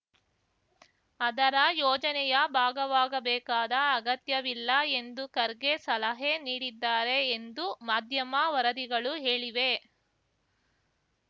ಅದರ ಯೋಜನೆಯ ಭಾಗವಾಗಬೇಕಾದ ಅಗತ್ಯವಿಲ್ಲ ಎಂದು ಖರ್ಗೆ ಸಲಹೆ ನೀಡಿದ್ದಾರೆ ಎಂದು ಮಾಧ್ಯಮ ವರದಿಗಳು ಹೇಳಿವೆ